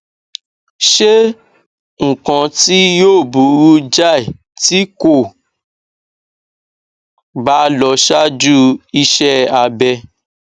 ṣe nǹkan tí yóò burú jáì tí kò bá lọ ṣáájú iṣẹ abẹ